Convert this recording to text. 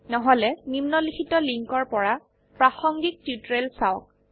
নহলে নিম্নলিখিত লিঙ্কৰ পৰা প্ৰাসঙ্গিক টিউটোৰিয়েল চাওক